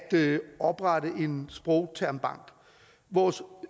oprette en sprogtermbank vores